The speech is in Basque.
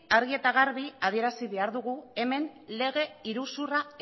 argi eta garbi adierazi behar dugu hemen lege iruzurra